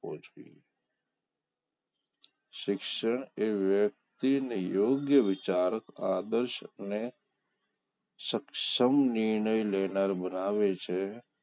શિક્ષણ એ વ્યક્તિને યોગ્ય વિચાર આદર્શ ને સક્ષમ નિર્ણય લેનાર બનાવે છે